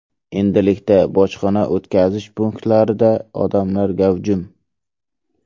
Endilikda bojxona o‘tkazish punktlarida odamlar gavjum.